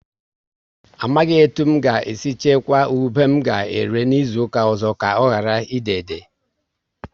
Amaghị etu n ga e si chukwa ube m ga ere n'izuka ọzọ, ka ọ ghara ị déédé